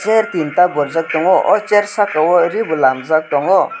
chair tinta borjak tongo o chair saka o ri bo lamjak tongo.